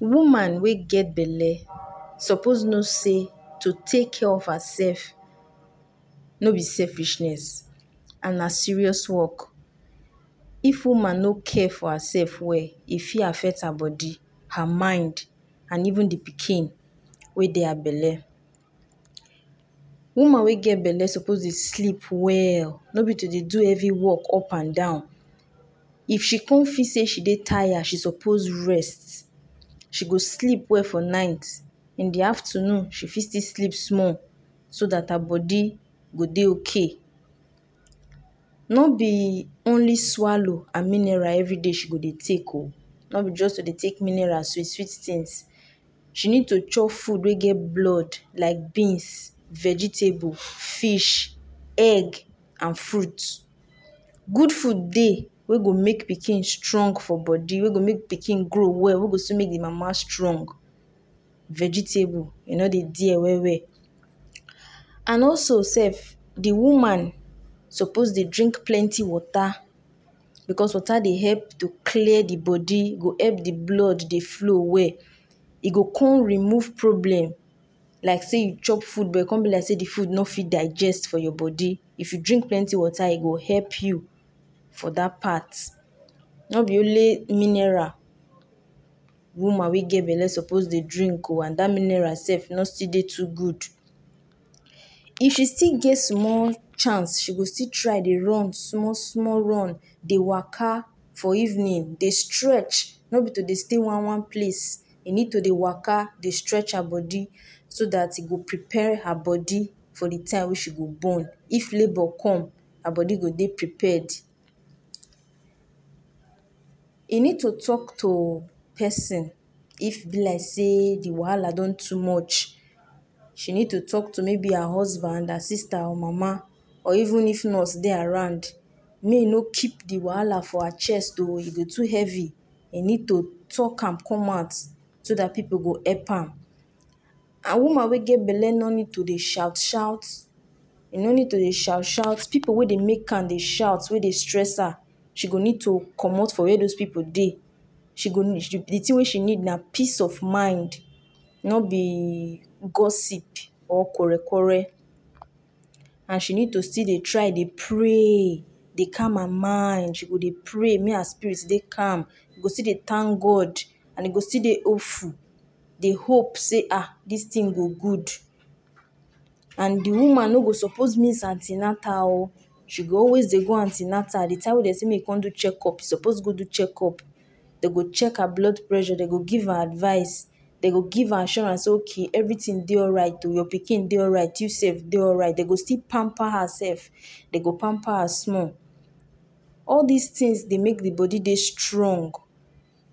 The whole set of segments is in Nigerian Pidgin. Woman wey get belle suppose know say to take care of herself no be selfishness, and na serious work if Woman no care for herself well e fit affect her body ,her mind and even the pikin we dey her belle .Woman wey get belle suppose dey sleep well, no be to dey do heavy work upan dan, if she con feel say she dey tired, she suppose rest she go sleep well for night in the aftanun she fit still sleep small so dat her body go dey OK.no be only swallow and mineral everyday she go dey take o ,no be just to dey take mineral sweet sweet things ,she need to chop food wey get blood like beans, vegetable, fish, egg and fruits, good food dey wey go make pikin strong for body ,wey go make pikin grow well wey go soon make d mama strong, vegetable e no dey there well well and also sef the woman suppose dey drink plenty water because water dey help to clear the body go help d blood dey flow well ,e go con remove problem like sey you chop food but come be like sey de food no fit digest for your body if you drink plenty water e go help you for dat part no be only mineral woman wey get belle suppose Dey drink ooo and dat mineral sef no still dey too good if she still get small chance she go still try Dey run small small run Dey worker for evening Dey stretch no b to Dey stay one one place she need to Dey waka Dey stretch her body so dat she go prepare her body for d time wey she go born if labour come her body go Dey prepared e need to talk to person if e be like say de wahala don too much she need to talk to maybe her husband, her sister or mama or even if nursse Dey around make e no keep d wahala to her chest oo if e to heavy e need to talk am come out so dat pipu go help am and woman wey get belle no need to Dey shout shout e no need to Dey shout pipu wey Dey make her Dey shout wey Dey stress her she go need to commot for where those pipu Dey de thing wey she need na peace of mind no be gossip or quarrel quarrel she need to still Dey pray Dey calm her mind she go Dey pray make her spirit Dey calm she go still Dey thank God and she go still Dey hopeful she go Dey hope sey ah dis thing go good and de woman no go suppose miss antinatal ooo she go always Dey go antinatal de time wey Dey sey make she go do checkup she suppose go do check up dem go check her blood pressure dem go give her advise dem go give her assurance sey okay everything Dey alright oo your pikin Dey alright you sef Dey alright dem go still pamper sef dem go pamper am small all dis things Dey make de body Dey strong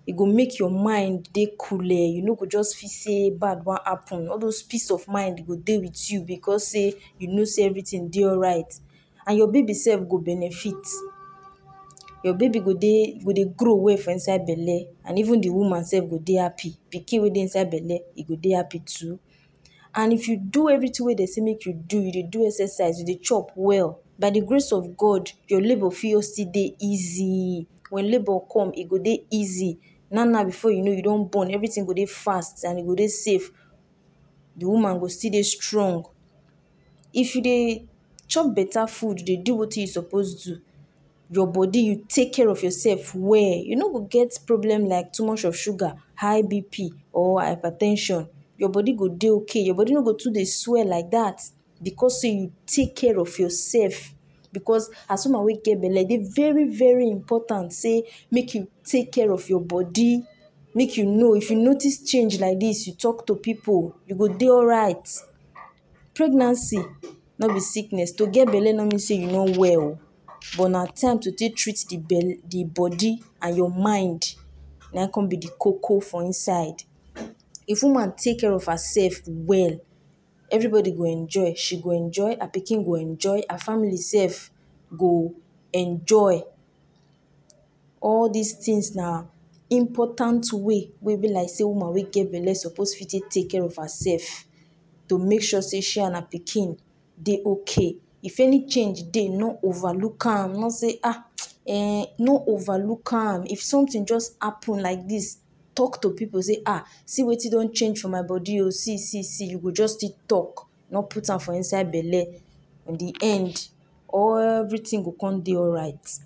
e go make your mind Dey cool you no go just see sey bad wan happen all dose peace of mind e go Dey with you because you know sey you Dey alright and your baby sef go benefit your baby go Dey grow well for inside belle or even de woman sef go Dey happy pikin wey Dey inside belle e go Dey happy too and if you do everything wey dem Dey make you do you Dey do exercise you Dey chop well by de grace of God you labour fit still Dey easy when labour come e go Dey easy now now before you know you do done born everything go Dey fast and e go Dey safe de woman go Dey strong if you Dey chop better food you Dey do wetin you suppose do your body you take care of yourself well you no go get problem like too much of sugar high bp or hyper ten sion you body go Dey okay your body no go too Dey swell like dat because sey you take care of yourself because as woman wey get belle e Dey very very important sey make you Dey take care of your body make you know if you notice change like dis make you talk to pipu you go Dey alright pregnancy no b sickness to get belle no mean sey you no well ooo but na time to take treat de body and your mind na im con be de koko for inside if woman take care of herself well everybody go enjoy she go enjoy her picking go enjoy her family sef go enjoy all dis things ba important way wey be like sey woman wey get belle suppose take care of her self to make sure say she and her pikin de okay if any change Dey no over look am no say ah ennn no over look am if something just happen like dis talk to pipu say ah see wetin don change for my body oo see see see you go just Dey talk no put am for inside belle in the end everything go con Dey alright